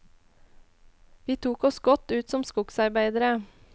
Vi tok oss godt ut som skogsarbeidere.